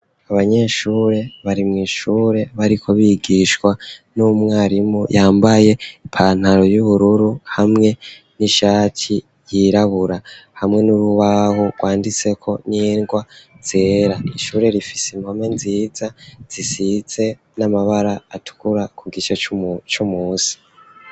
AAbanyeshure bari mw'ishure bariko bigishwa n'umwarimu yambaye ipantaro y'ubururu hamwe n'ishati ryirabura hamwe n'urubaho rwanditse ko nindwa zera ishure rifise impome nziza zisitse n'amabara atukura ku gice c'umusi.